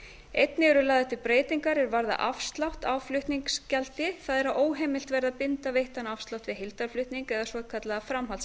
einnig eru lagðar til breytingar er varða afslátt á flutningsgjaldi það er að óheimilt verður að binda veittan afslátt við heildarflutning eða svokallaða